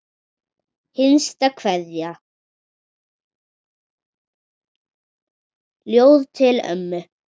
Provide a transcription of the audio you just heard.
Hinsta kveðja, ljóð til ömmu.